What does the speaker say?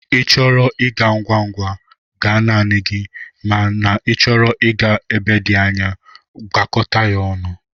Ị chọrọ ịga ngwa ngwa, gaa naanị gị ma n'ichọrọ ịga ebe dị anya, gakọta ya ọnụ.